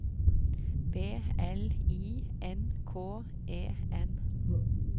B L I N K E N